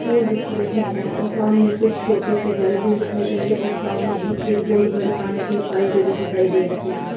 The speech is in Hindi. फूल दिख रहे हैं और सामने कुछ छोटे सी बिल्डिंग दिखाई दे रही है और सामने ही एक बहुत बड़ी पानी की पाइप भी दिखाई दे रही है।